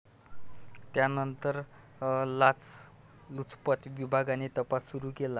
त्यानंतर लाचलुचपत विभागाने तपास सुरू केला.